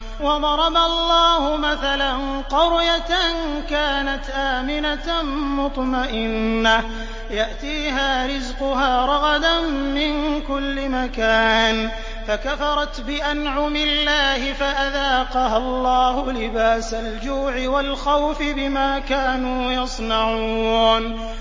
وَضَرَبَ اللَّهُ مَثَلًا قَرْيَةً كَانَتْ آمِنَةً مُّطْمَئِنَّةً يَأْتِيهَا رِزْقُهَا رَغَدًا مِّن كُلِّ مَكَانٍ فَكَفَرَتْ بِأَنْعُمِ اللَّهِ فَأَذَاقَهَا اللَّهُ لِبَاسَ الْجُوعِ وَالْخَوْفِ بِمَا كَانُوا يَصْنَعُونَ